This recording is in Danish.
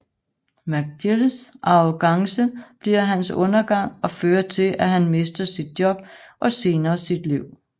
McGills arrogance bliver hans undergang og fører til at han mister sit job og senere sit liv